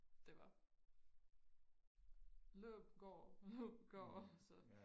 Det var løb gå løb gå så